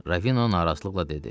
Ravino narahatlıqla dedi.